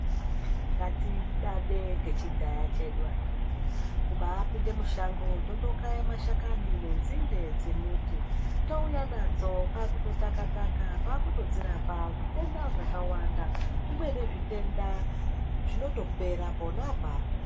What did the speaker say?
Ngatidade ngechidhaya chedu akhiti. Kubaapinde mushonga totokaya mashakani nenzinde dzemuti. Touya nadzo kwaakutotaka-taka kwaakutodzorapa zvitenda zvakawanda. Zvimweni zvitenda zvinotopera pona apapo.